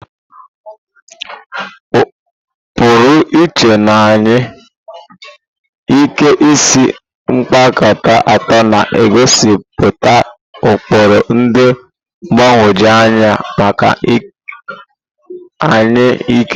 Pụrụ iche na anya, Ike isi kpakpando atọ na-egosipụta ụkpụrụ dị mgbagwoju anya maka anya ike.